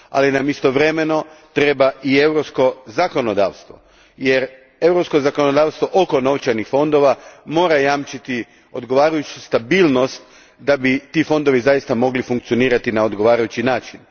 Ali nam istovremeno treba i europsko zakonodavtsvo, jer europsko zakonodavtsvo mora jamčiti oko novčanih fondova odgovarajuću stabilnost da bi ti fondovi zaista mogli funkcionirati na odgovarajući način.